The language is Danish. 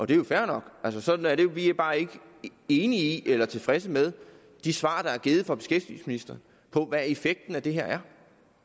det er fair nok sådan er det vi er bare ikke enige i eller tilfredse med de svar der er givet fra beskæftigelsesministeren på hvad effekten af det her er